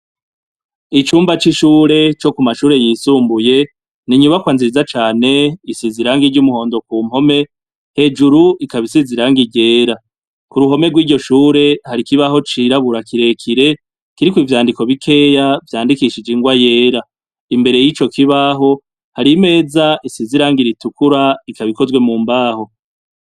Icumba c’ishure co ku mashure yisumbuye n’inyubakwa nziza cane risize irangi ry’umuhondo ku mpome hejuru ikaba isize irangi ryera kuruhome rwiryo shure hari ikibaho cirabura kirekire kiriko ivyandiko bikeya vyandikishije ingwa yera imbere yico kibaho hari imeza isize irangi ritukura ikaba ikozwe mu mbaho.